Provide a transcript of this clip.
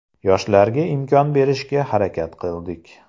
Yoshlarga imkon berishga harakat qildik.